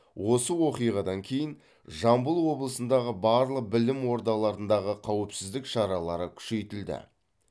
осы оқиғадан кейін жамбыл облысындағы барлық білім ордаларындағы қауіпсіздік шаралары күшейтілді